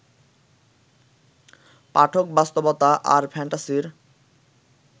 পাঠক বাস্তবতা আর ফ্যান্টাসির